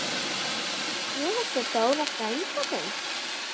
Ég hitti Dóra frænda þinn.